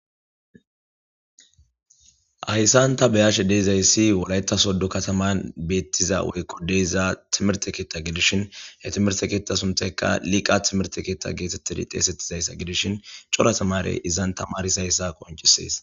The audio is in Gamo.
hayssanta beyashe deezayssi wolayta soddo kataman beettiza wykudeyza timerte keetta gidishin he timerte keetta suntekka liqa timerte keetta geetettidi xeesettizayssa gidishin cora tamare izan tamaris hayssa qoncisees